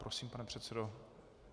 Prosím, pane předsedo.